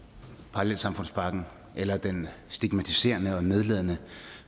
parallelsamfundspakken eller den stigmatiserende og nedladende